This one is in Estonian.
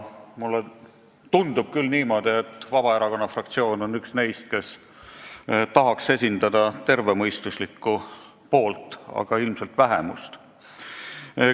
Mulle tundub niimoodi, et Vabaerakonna fraktsioon on üks neist, kes tahaks esindada tervemõistuslikku poolt, aga ilmselt vähemust.